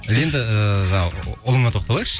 енді жаңағы ұлыңа тоқталайықшы